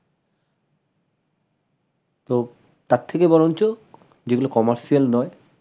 তো তার থেকে বরঞ্চ যেগুলো commercial নয়